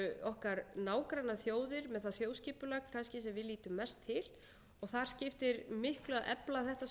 okkar nágrannaþjóðir með það þjóðskipulag kannski sem við lítum mest til þar skiptir miklu að efla þetta samstarf